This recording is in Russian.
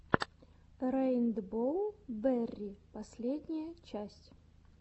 рэйнбоу берри последняя часть